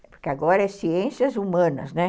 Porque agora é Ciências Humanas, né?